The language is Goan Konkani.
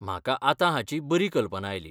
म्हाका आतां हाची बरी कल्पना आयली.